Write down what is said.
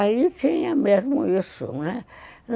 Aí tinha mesmo isso, né.